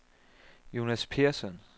Jonas Persson